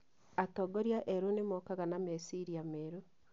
atongoria erũ nĩ mokaga na meciria merũ.